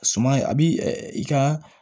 Suman a bi i ka